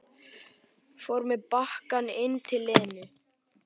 Fór með bakkann inn til Lenu.